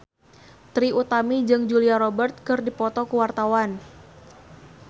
Trie Utami jeung Julia Robert keur dipoto ku wartawan